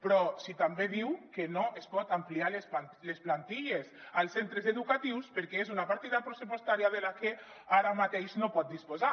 però també diu que no es poden ampliar les plantilles als cen·tres educatius perquè és una partida pressupostària de la que ara mateix no pot dis·posar